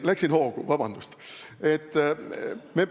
Läksin hoogu, vabandust!